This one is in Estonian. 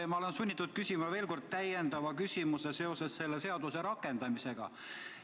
Ma olen sunnitud küsima veel kord täiendava küsimuse seoses selle seaduse rakendamisega.